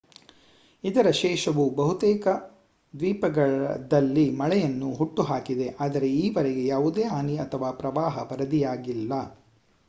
ಇದರ ಶೇಷವು ಬಹುತೇಕ ದ್ವೀಪದಲ್ಲಿ ಮಳೆಯನ್ನು ಹುಟ್ಟುಹಾಕಿದೆ ಆದರೆ ಈವರೆಗೆ ಯಾವುದೇ ಹಾನಿ ಅಥವಾ ಪ್ರವಾಹ ವರದಿಯಾಗಿಲ್ಲ